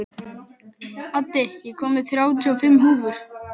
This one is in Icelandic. Addi, ég kom með þrjátíu og fimm húfur!